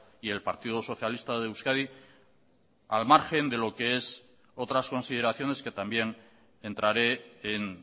y el partido socialista de euskadi al margen de lo que es otras consideraciones que también entraré en